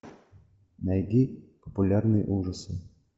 найди популярные ужасы